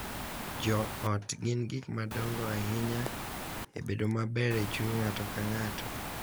Jo ot gin gik madongo ahinya e bedo maber e chuny ng’ato ka ng’ato,